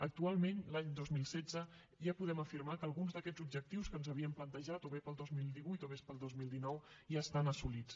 actualment l’any dos mil setze ja podem afirmar que alguns d’aquests objectius que ens havíem plantejat o bé per al dos mil divuit o bé per al dos mil dinou ja estan assolits